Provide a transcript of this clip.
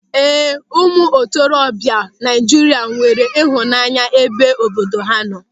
Ee, ụmụ ntorobịa Naịjirịa nwere ịhụnanya n'ebe obodo ha nọ.